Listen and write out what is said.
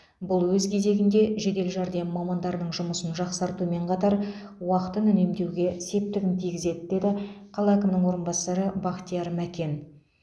бұл өз кезегінде жедел жәрдем мамандарының жұмысын жақсартумен қатар уақытын үнемдеуге септігін тигізеді деді қала әкімінің орынбасары бақтияр мәкен